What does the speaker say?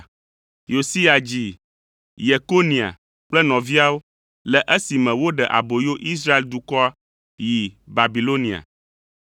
Yosia dzi Yekonia kple nɔviawo le esime woɖe aboyo Israel dukɔa yi Babilonia.